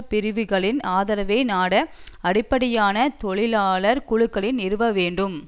பிரிவுகளின் ஆதரவை நாட அடிப்படையான தொழிலாளர் குழுக்களை நிறுவ வேண்டும்